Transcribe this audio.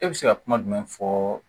E bɛ se ka kuma jumɛn fɔ